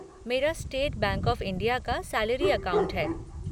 मेरा State Bank of India का salary account है।